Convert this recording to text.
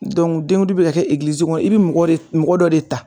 dɔnku denkundi be ka kɛ egilizi kɔnɔ i bi mɔgɔ mɔgɔ dɔ de ta